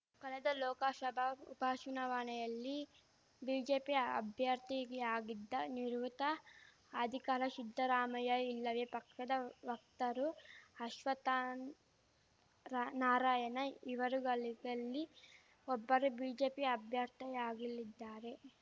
ಕಳೆದ ಲೋಕಶಭಾ ಉಪಚುನಾವಣೆಯಲ್ಲಿ ಬಿಜೆಪಿ ಅಭ್ಯರ್ಥಿಯಾಗಿದ್ದ ನಿವೃತ್ತ ಅಧಿಕಾರ ಶಿದ್ಧರಾಮಯ್ಯ ಇಲ್ಲವೇ ಪಕ್ಷದ ವಕ್ತಾರು ಅಶ್ವತ್ಥರಾನಾರಾಯಣ ಇವರುಗಳೀಗಲ್ಲಿ ಒಬ್ಬರು ಬಿಜೆಪಿ ಅಭ್ಯರ್ಥಿಯಾಗಲಿದ್ದಾರೆ